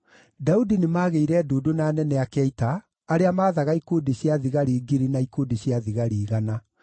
Daudi nĩmagĩire ndundu na anene ake a ita, arĩa maathaga ikundi cia thigari ngiri na ikundi cia thigari igana.